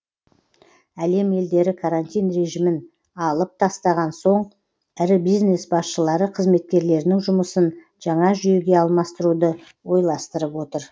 әлем елдері карантин режимін алып тастаған соң ірі бизнес басшылары қызметкерлерінің жұмысын жаңа жүйеге алмастыруды ойластырып отыр